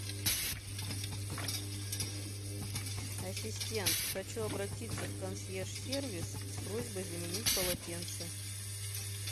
ассистент хочу обратиться в консьерж сервис с просьбой заменить полотенца